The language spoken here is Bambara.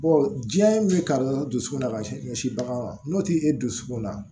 diɲɛ bɛ kari dusukun na ka ɲɛsin bagan ma n'o tɛ e dusukun na